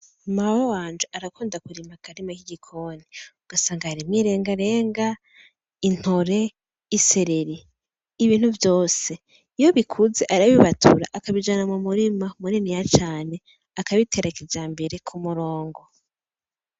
Mawe wanje arakunda kurima akarima k'igikoni ugasanga yarimye irengarenga, intore, isereri, ibintu Vyose iyo bikuze arabibatura akabijana mumurima muniniya cane akabitera kijambere k'umurongo .